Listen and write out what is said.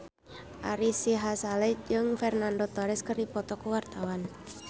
Ari Sihasale jeung Fernando Torres keur dipoto ku wartawan